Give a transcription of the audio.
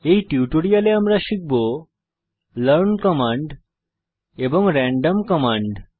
এই টিউটোরিয়ালে আমরা শিখব লার্ন কমান্ড এবং র্যান্ডম কমান্ড